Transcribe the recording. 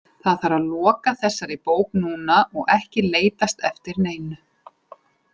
Það þarf að loka þessari bók núna og ekki leitast eftir neinu.